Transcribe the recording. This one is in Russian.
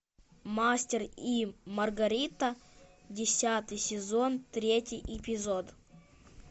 мастер и маргарита десятый сезон третий эпизод